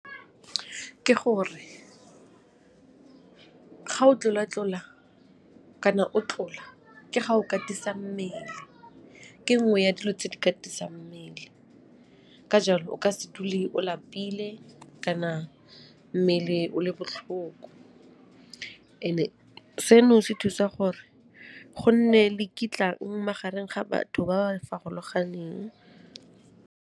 Ke gore, ga o tlola-tlola kana o tlola ke ga o katisa mmele ke nngwe ya dilo tse di katisabg mmele ka jalo o ka se dule o lapile kana mmele o le botlhoko and-e seno se thusa gore go nne le kitlang magareng ga batho ba ba farologaneng.